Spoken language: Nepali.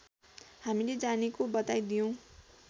हामीले जानेको बताइदियौँ